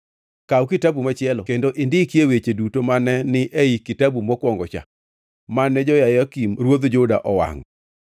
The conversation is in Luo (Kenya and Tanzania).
“Kaw kitabu machielo kendo indikie weche duto mane ni e kitabu mokwongo-cha, mane Jehoyakim ruodh Juda owangʼo.